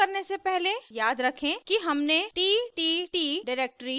शुरू करने से पहले याद रखें कि हमने ttt डिरेक्टरी पहले ही बना ली थी